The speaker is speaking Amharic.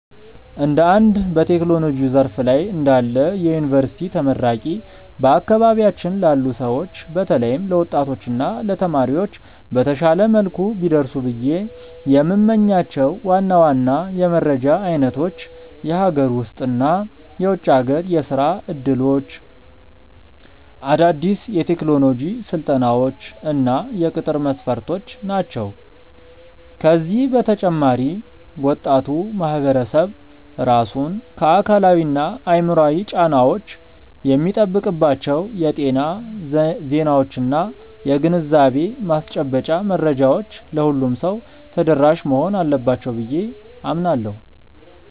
እንደ አንድ በቴክኖሎጂው ዘርፍ ላይ እንዳለ የዩኒቨርሲቲ ተመራቂ፣ በአካባቢያችን ላሉ ሰዎች በተለይም ለወጣቶች እና ለተማሪዎች በተሻለ መልኩ ቢደርሱ ብዬ የምመኛቸው ዋና ዋና የመረጃ አይነቶች የሀገር ውስጥ እና የውጭ ሀገር የሥራ ዕድሎች፣ አዳዲስ የቴክኖሎጂ ስልጠናዎች እና የቅጥር መስፈርቶች ናቸው። ከዚህ በተጨማሪ ወጣቱ ማህበረሰብ ራሱን ከአካላዊና አእምሯዊ ጫናዎች የሚጠብቅባቸው የጤና ዜናዎችና የግንዛቤ ማስጨበጫ መረጃዎች ለሁሉም ሰው ተደራሽ መሆን አለባቸው ብዬ አምናለሁ።